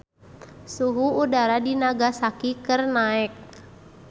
Suhu udara di Nagasaki keur naek